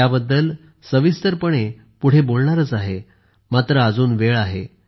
याबद्दल सविस्तर पुढे बोलणारच आहे मात्र अजून वेळ आहे